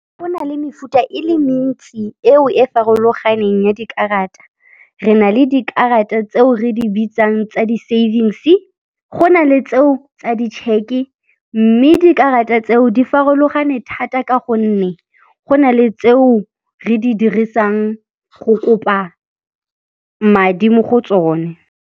Go nale mefuta e le mentsi eo e farologaneng ya dikarata. Re na le dikarata tseo re di bitsang tsa di-savings-e, go na le tseo tsa di check-e e mme dikarata tseo di farologane thata ka gonne go na le tseo re di dirisang go kopa madi mo go tsone.